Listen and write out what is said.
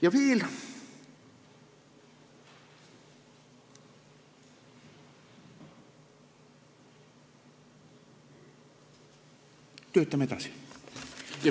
Ja veel, töötame edasi.